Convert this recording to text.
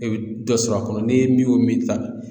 E bɛ dɔ sɔrɔ a kɔnɔ ni min y'o min ta